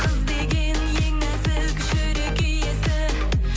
қыз деген ең нәзік жүрек иесі